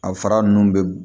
A fara ninnu bɛ